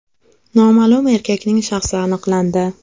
Noma’lum erkakning shaxsi aniqlandi.